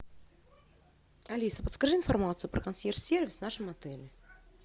алиса подскажи информацию про консьерж сервис в нашем отеле